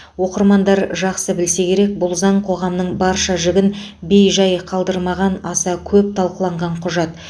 оқырмандар жақсы білсе керек бұл заң қоғамның барша жігін бейжай қалдырмаған аса көп талқыланған құжат